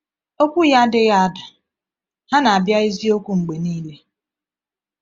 Okwu Ya adịghị ada; ha na-abịa eziokwu mgbe niile.